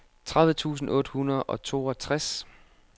tredive tusind otte hundrede og toogtres